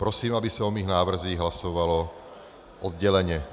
Prosím, aby se o mých návrzích hlasovalo odděleně.